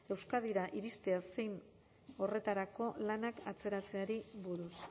euskadira iristea zein horretarako lanak atzeratzeari buruz